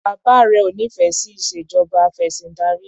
Bàbá rẹ ò nífẹẹ sí ìṣèjọba afẹ̀sìndarí.